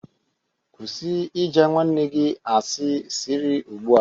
Kwụsị ịja nwanne gị asị sirị ugbu a